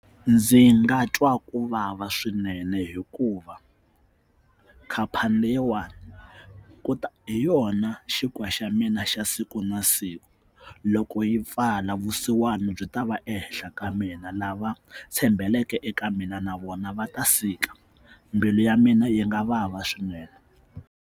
Ndzi nga twa ku vava swinene hikuva khampani leyiwani hi yona xinkwa xa mina xa siku na siku loko yi pfala vusiwana byi ta va ehenhla ka mina lava tshembeleke eka mina na vona va ta sika mbilu ya mina yi nga vava swinene.